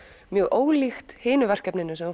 mjög ólíkt hinu verkefninu sem þú